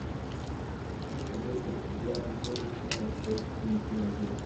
хочу посмотреть тридцать девятую серию сезона шесть дневники вампира